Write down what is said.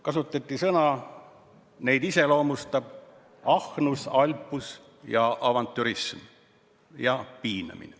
Kasutati sõnu, et neid iseloomustab ahnus, alpus, avantürism ja piinamine.